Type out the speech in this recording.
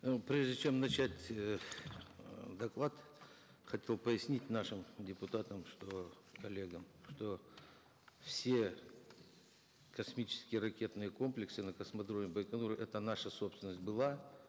э прежде чем начать э доклад хотел пояснить нашим депутатам что коллегам что все космические ракетные комплексы на космодроме байконур это наша собственность была